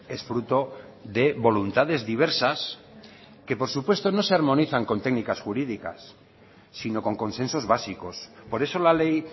es fruto de voluntades diversas que por supuesto no se armonizan con técnicas jurídicas sino con consensos básicos por eso la ley